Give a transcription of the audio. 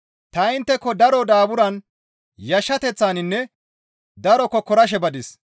Ta intteko daro daaburan, yashshateththaninne daro kokkorashe badis.